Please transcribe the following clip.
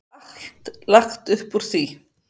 Það er allt lagt upp úr því.